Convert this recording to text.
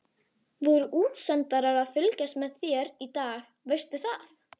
Voru útsendarar að fylgjast með þér í dag, veistu það?